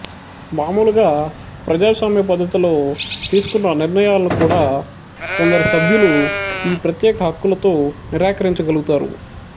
మామూలుగా ప్రజాస్వామ్య పద్ధతిలో తీసుకున్న నిర్ణయాలను కూడ కొందరు సభ్యులు ఈ ప్రత్యేక హక్కులతో నిరాకరించ గలుగుతారు